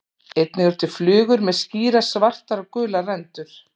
Einnig eru til flugur með skýrar svartar og gular rendur.